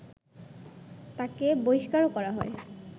তাঁকে বহিষ্কারও করা হয়